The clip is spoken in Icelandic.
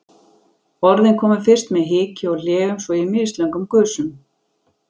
Orðin komu fyrst með hiki og hléum, svo í mislöngum gusum.